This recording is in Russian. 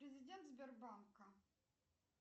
президент сбербанка